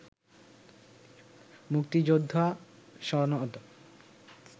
মুক্তিযোদ্ধা সনদ